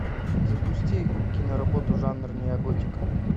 запусти киноработу жанр неоготика